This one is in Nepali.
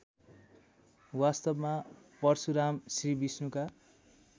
वास्तवमा परशुराम श्रीविष्णुका